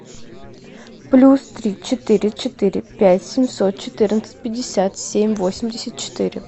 плюс три четыре четыре пять семьсот четырнадцать пятьдесят семь восемьдесят четыре